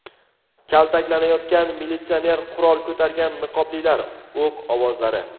Kaltaklanayotgan militsioner, qurol ko‘targan niqoblilar, o‘q ovozlari .